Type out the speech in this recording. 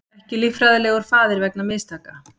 Ekki líffræðilegur faðir vegna mistaka